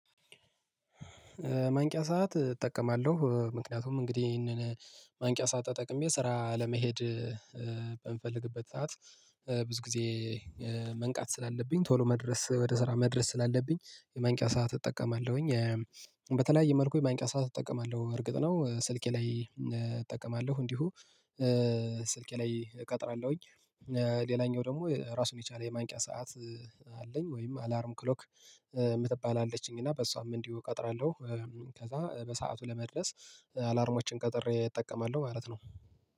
ማንቂያ ሰዓት እጠቀማለሁ ምክንያቱም እንግዲህ ይሄንን ማንቂያ ሰዓት ተጠቅሜ ስራ ለመሄድ በምፈልግበት ሰዓት ብዙ ጊዜ መንቃት ስላለብኝ ቶሎ መድረስ ወደ ስራ መድረስ ስላለብኝ የማንቂያ ሰዓት እጠቀማለሁኝ። በተለያየ መልኩ የማንቂያ ሰዓት እጠቀማለሁ እርግጥ ነው ስልኬ ላይ እጠቀማለሁ እንዲሁ ስልኬ ላይ እቀጥራለሁኝ። ሌላኛው ደግሞ ራሱን የቻለ የማንቂያ ሰዓት አለኝ ወይም አላርም ክሎክ የምትባልአለች እና በሷም እንዲሁ እቀጥራለሁ። ከዛ በሰአቱ ለመድረስ አላርሞችን ቀጥሬ እጠቀማለሁ ማለት ነው።